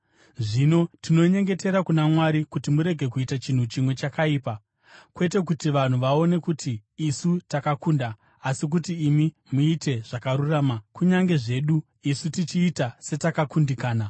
Zvino tinonyengetera kuna Mwari kuti murege kuita chinhu chimwe chakaipa. Kwete kuti vanhu vaone kuti isu takakunda, asi kuti imi muite zvakarurama kunyange zvedu isu tichiita setakakundikana.